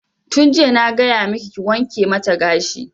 Tun jiya na gaya maki ki wanke mata gashi!